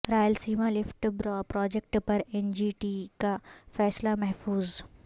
Rayalaseema lift project پر N G T کا فیصلہ محفوظ